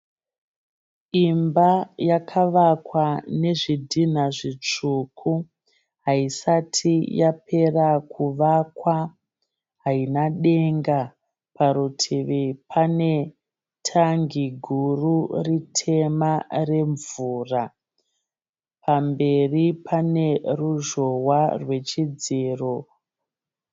Imba yakavakwa nezvidhina zvitsvuku. Haisati yapera kuvakwa haina denga. Parutivi pane tangi guru ritema remvura. Pamberi paneruzhowa rwechidziro.